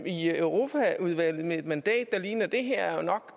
i europaudvalget med et mandat der ligner det her er jo nok